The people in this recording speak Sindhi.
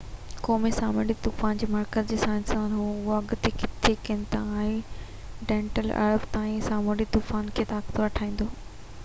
قومي سامونڊي طوفان جي مرڪز جي سائنسدانن اهو اڳ ڪٿي ڪن ٿا تہ ڊينئيل اربع تائين سامونڊي طوفان کي طاقتور ٺاهيندو